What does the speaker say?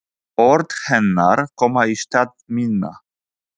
Orð hennar koma í stað minna.